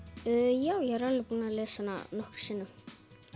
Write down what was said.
já ég er alveg búin að lesa hana nokkrum sinnum